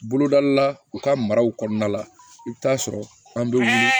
Bolodali la u ka maraw kɔnɔna la i bɛ taa sɔrɔ an bɛ wuli